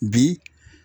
Bi